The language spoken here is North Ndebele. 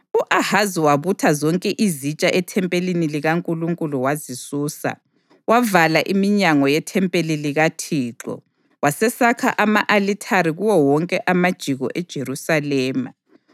U-Ahazi wabutha zonke izitsha ethempelini likaNkulunkulu wazisusa. Wavala iminyango yethempeli likaThixo wasesakha ama-alithare kuwo wonke amajiko eJerusalema.